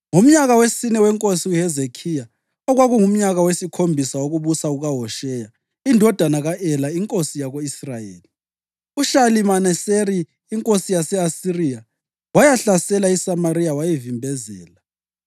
Ngomnyaka wesine wenkosi uHezekhiya, okwakungumnyaka wesikhombisa wokubusa kukaHosheya indodana ka-Ela inkosi yako-Israyeli, uShalimaneseri inkosi yase-Asiriya wayahlasela iSamariya wayivimbezela.